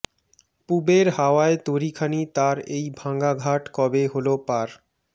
পুবের হাওয়ায় তরীখানি তার এই ভাঙা ঘাট কবে হল পার